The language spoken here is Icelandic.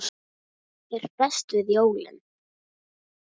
Hvað er best við jólin?